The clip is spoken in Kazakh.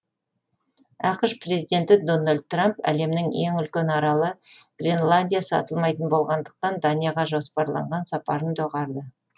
ақш президенті дональд трамп әлемнің ең үлкен аралы гренландия сатылмайтын болғандықтан данияға жоспарланған сапарын доғарды